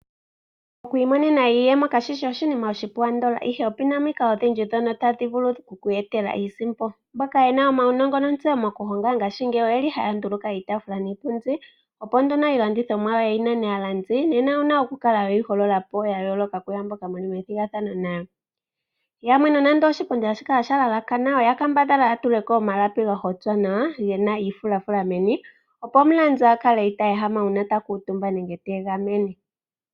Oku imonena iiyemo kashishi oshinima oshipu andola ashike opuna omikalo odhindji ndhono tadhi vulu oku ku etela iisimpo .mboka yena uunongo nontseyo mokuhonga ngashingeyi oyeli haya nduluka iitafula niipundi opo nduno iilandithomwa yawo yi nane aalandi nena owuna okukala weyi hololapo ya yooloka kuyaamboka muli methigathano nayo . Yamwe nonando oshipundi hashi kala sha lalakana oya kambadhala yatuleko omalapi ga hotwa nawa gena omafulafula meni opo omulandi akale ita ehama uuma ta kuutumba nenge ta egamene.